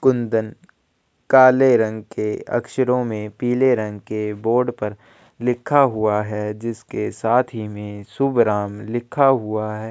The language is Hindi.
कुंदन काले रंग के अक्षरों पीले रंग के बॉर्डर पर लिखा हुआ है जिसके साथ ही में शुभ राम लिखा हुआ है।